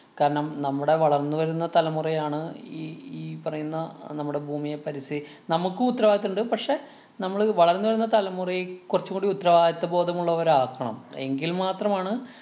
കാരണം, നമ്മുടെ വളര്‍ന്നു വരുന്ന തലമുറയാണ് ഈ ഈ പറയുന്ന നമ്മുടെ ഭൂമിയെ പരിസ്ഥിതി നമുക്കും ഉത്തരവാദിത്തം ഇണ്ട്, പക്ഷെ നമ്മള് വളര്‍ന്നു വരുന്ന തലമുറയെ കുറച്ചും കൂടി ഉത്തരവാദിത്വ ബോധമുള്ളവരാക്കണം. എങ്കില്‍ മാത്രമാണ്